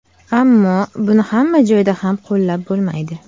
Ammo buni hamma joyda ham qo‘llab bo‘lmaydi.